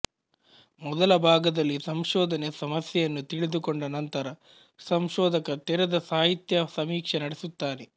ಮೊದಲ ಭಾಗದಲ್ಲಿ ಸಂಶೋಧನೆ ಸಮಸ್ಯೆಯನ್ನು ತಿಳಿದುಕೊಂಡ ನಂತರ ಸಂಶೋಧಕ ತೆರೆದ ಸಾಹಿತ್ಯ ಸಮೀಕ್ಷೆ ನಡೆಸುತ್ತಾನೆ